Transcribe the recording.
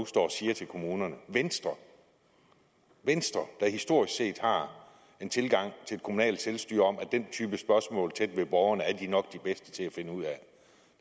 står og siger til kommunerne venstre der historisk set har en tilgang til det kommunale selvstyre om at den type spørgsmål tæt ved borgerne er de nok de bedste til at finde ud af